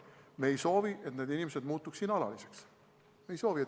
Me ei soovi, et need inimesed muutuks siin alaliseks.